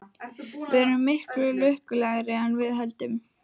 Við erum miklu lukkulegri en við höldum.